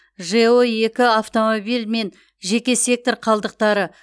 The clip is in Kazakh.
жэо екі автомобиль мен жеке сектор қалдықтары